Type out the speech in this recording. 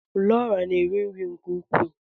Laura na-eri nri nke ukwuu.